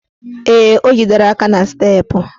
Ee, o jidere aka n' steepụ